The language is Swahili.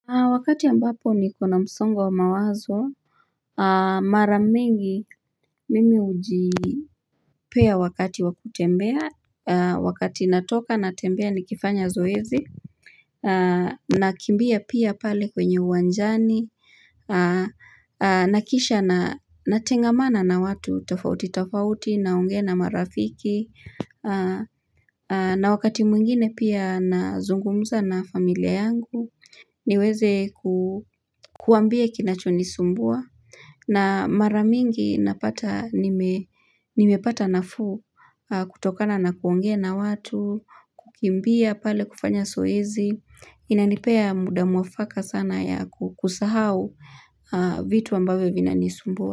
Wakati ambapo nikona msongo wa mawazo, mara mingi mimi hujipea wakati wa kutembea Wakati natoka natembea nikifanya zoezi nakimbia pia pale kwenye uwanjani na kisha natengamana na watu tofauti tofauti naongea na marafiki na wakati mwingine pia nazungumza na familia yangu niweze ku Kuwambia kinachonisumbua na mara mingi napata nimepata nafuu kutokana na kuongea na watu, kukimbia pale kufanya zoezi, inanipea muda mwafaka sana ya kusahau vitu ambavyo vinanisumbua.